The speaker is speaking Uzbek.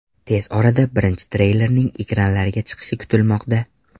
Tez orada birinchi treylerning ekranlarga chiqishi kutilmoqda.